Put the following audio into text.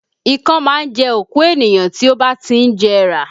Ìkan máa ń jẹ́ òkú ènìyàn tí ó bá ti ń jẹrà